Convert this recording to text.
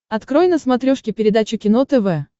открой на смотрешке передачу кино тв